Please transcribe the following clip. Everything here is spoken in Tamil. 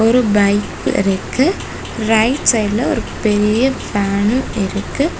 ஒரு ஃபக் இருக்கு ரைட் சைடுல ஒரு பெரிய வேணு இருக்கு.